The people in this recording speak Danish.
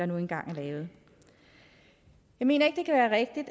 nu engang er lavet jeg mener ikke